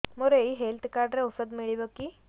ମୋର ଏଇ health card ରେ ଔଷଧ ମିଳିବ କି